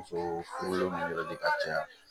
Muso furulenw yɛrɛ de ka ca